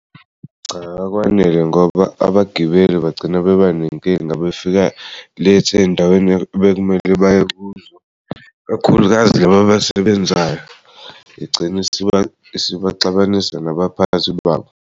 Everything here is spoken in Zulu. Cha, akwanele ngoba abagibeli bagcina bebanenkinga bafika late ey'ndaweni bekumele baye kuzo kakhulukazi labo abasebenzayo igcina isibaxabanisa nabaphathi babo.